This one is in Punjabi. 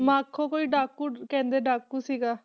ਮਾਖੋ ਕੋਈ ਡਾਕੂ ਕਹਿੰਦੇ ਡਾਕੂ ਸੀਗਾ।